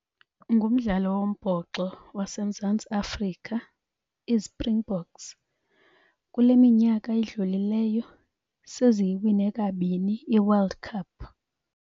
Ngumdlalo wombhoxo waseMzantsi Afrika, iiSpringboks. Kule minyaka idlulileyo seziyiwine kabini iWorld Cup.